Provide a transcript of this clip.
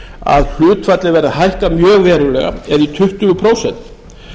að hlutfallið verði hækkað mjög verulega eða í tuttugu prósent